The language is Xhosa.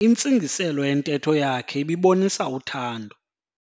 Intsingiselo yentetho yakhe ibibonisa uthando.